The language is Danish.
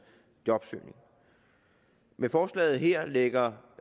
jobsøgning med forslaget her lægger